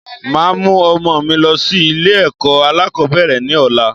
Màá mú ọmọ mi lọ sí Ilé èkó alákòbéèrè ni ọ̀la